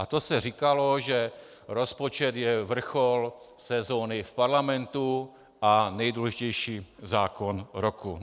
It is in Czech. A to se říkalo, že rozpočet je vrchol sezóny v Parlamentu a nejdůležitější zákon roku.